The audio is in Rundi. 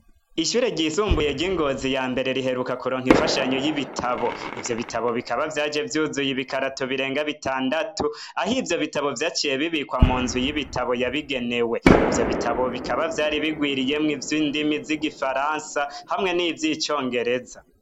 Ishure ry'isumbuye ry'Ingozi ya mbere, riheruka kuronka imfashanyo y'ibitabo, ivyo bitabo bikaba vyaje vyuzuye ibi karato birenga bitandatu ahivyo bitabo vyaciye bibikwa munzu y'ibitabo yabigenewe. Ivyo bitabo bikaba vyari birwiriyemwo ivyindimi z'igifaransa hamwe nivy'icongereza.